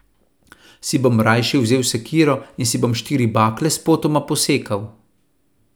Si bom rajši vzel sekiro in si bom štiri bakle spotoma posekal.